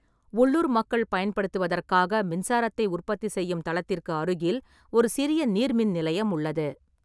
உள்ளூர் மக்கள் பயன்படுத்துவதற்காக மின்சாரத்தை உற்பத்தி செய்யும் தளத்திற்கு அருகில் ஒரு சிறிய நீர்மின் நிலையம் உள்ளது.